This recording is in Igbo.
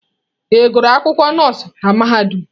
Ị gụrụ akwụkwọ nọọsụ na mahadum?